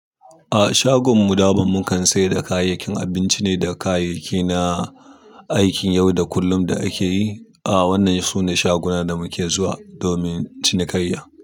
A shagunan mu daman, mukan sayar da kayayyakin abinci ne da kayayyaki na aikin yau da kullum da ake yi. Ah wannan su ne shagunan da muke zuwa domin cinikayya.